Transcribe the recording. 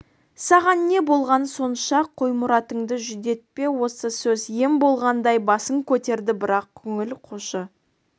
саған не болған сонша қой мұратыңды жүдетпе осы сөз ем болғандай басын көтерді бірақ көңіл қошы